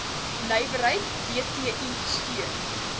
nywerheid dti steun